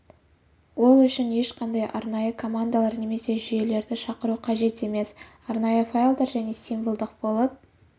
ол үшін ешқандай арнайы командаларды немесе жүйелерді шақыру қажет емес арнайы файлдар және символдық болып